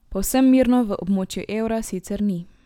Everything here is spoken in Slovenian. Povsem mirno v območju evra sicer ni.